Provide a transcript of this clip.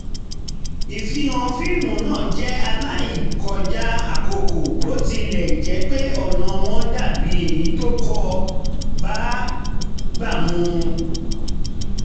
ìfihàn fíìmù náà jẹ́ aláìkọjá àkókò bó tilẹ̀ jẹ́ pé ọ̀nà wọn dà bí èyí tó kò bágbà mu